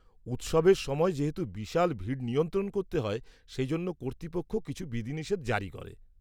-উৎসবের সময় যেহেতু বিশাল ভিড় নিয়ন্ত্রণ করতে হয় সেই জন্য কর্তৃপক্ষ কিছু বিধিনিষেধ জারি করে।